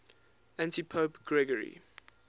antipope gregory